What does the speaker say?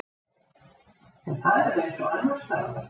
En það er eins og annarsstaðar.